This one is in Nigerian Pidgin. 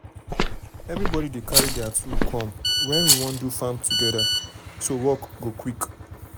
everybody dey carry their tool come um when we wan do farm work together so work go quick.